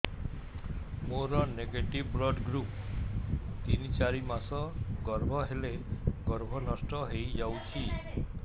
ମୋର negative blood group ତିନ ଚାରି ମାସ ଗର୍ଭ ହେଲେ ଗର୍ଭ ନଷ୍ଟ ହେଇଯାଉଛି